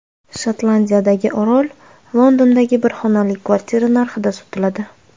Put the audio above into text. Shotlandiyadagi orol Londondagi bir xonali kvartira narxida sotiladi.